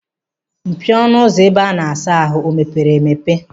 Mpio ọnụ ụlọ ebe a na-asa ahụ o meepere emepe?